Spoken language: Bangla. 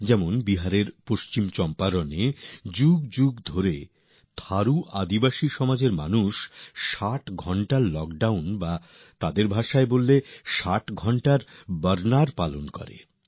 যেমন বিহারের পশ্চিম চম্পারনে বহু শতাব্দী ধরে চলে আসা থারু আদিবাসী সমাজের মানুষ ৬০ ঘন্টার লকডাউন অথবা তাঁদের ভাষায় যদি বলি ৬০ ঘন্টার বর্ণাবরণউদযাপন করে থাকেন